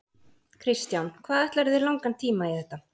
Kristján: Hvað ætlarðu þér langan tíma í þetta?